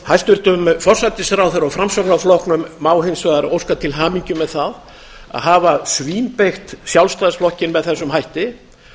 hæstvirts forsætisráðherra og framsóknarflokknum má hins vegar óska til hamingju með það að hafa svínbeygt sjálfstæðisflokkinn með þessum hætti